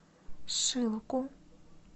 шилку